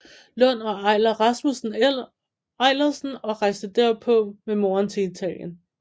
Lund og Eiler Rasmussen Eilersen og rejste derpå med moren til Italien